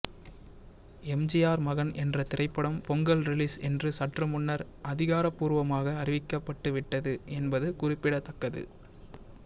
எம்ஜிஆர் மகன் என்ற திரைப்படம் பொங்கல் ரிலீஸ் என்று சற்று முன்னர் அதிகாரபூர்வமாக அறிவிக்கப்பட்டு விட்டது என்பது குறிப்பிடத்தக்கது